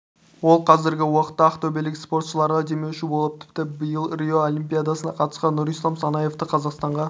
ол қазіргі уақытта ақтөбелік спортшыларға демеуші болып тіпті биыл рио олимпиадасына қатысқан нұрислам санаевты қазақстанға